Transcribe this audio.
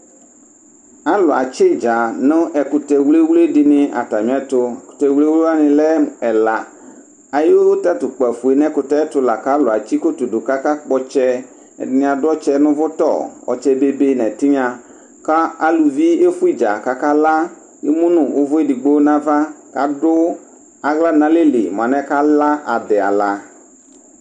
alʋ adzi itdza nʋ ɛkʋtɛ wlɛwlɛ dini atami ɛtʋ, ɛkʋtɛ wlɛwlɛ wani lɛ ɛla ayi tatʋ kpaƒʋɛ kʋ ɛkʋtɛ tʋlakʋ alʋ atsi kɔtɔ dʋ kʋaka kpɔ ɔtsɛ, ɛdini adʋ ɔtsɛ nʋ ʋvʋtɔ, ɔtsɛ bɛbɛ nʋ ɛtinya kʋ alʋvi ɛƒʋɛ itdza kʋ aka la, ɛmʋnʋ ʋvʋ ɛdigbɔ nʋ aɣa kʋadʋ ala nʋ alɛli mʋa alɛnɛ ala adi ala